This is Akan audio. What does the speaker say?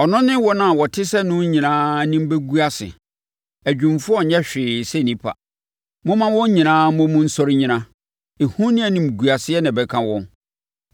Ɔno ne wɔn a wɔte sɛ no nyinaa anim bɛgu ase; adwumfoɔ nyɛ hwee sɛ nnipa. Momma wɔn nyinaa mmɔ mu nsɔre nnyina, ehu ne animguaseɛ na ɛbɛka wɔn.